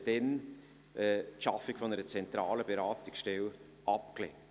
Sie haben damals die Schaffung einer zentralen Beratungsstelle abgelehnt.